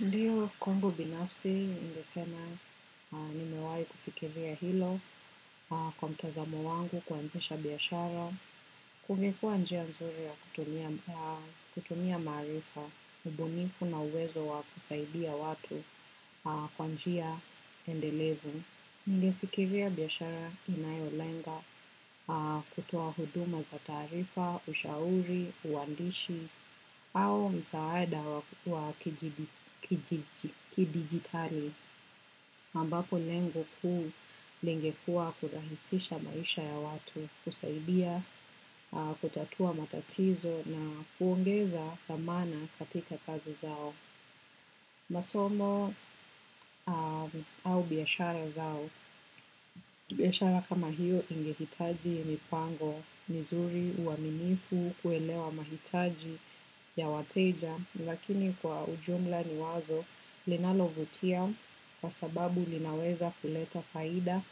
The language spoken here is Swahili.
Ndiyo Kwangu Binafsi, ningesena nimewai kufikiria hilo kwa mtazamo wangu kuanzisha biashara, kumekuwa njia nzuri ya kutumia maarifa, ubunifu na uwezo wa kusaidia watu kwa njia endelevu. Ningefikiria biashara inayolenga kutoa huduma za taarifa, ushauri, uwandishi, au msaada wa kidigitali. aMbapo lengo kuu lingekuwa kurahisisha maisha ya watu, kusaidia, kutatua matatizo na kuongeza dhamana katika kazi zao. Masomo au biashara zao, biashara kama hiyo ingehitaji mipango mizuri uaminifu kuelewa mahitaji ya wateja lakini kwa ujumla ni wazo linalovutia kwa sababu linaweza kuleta faida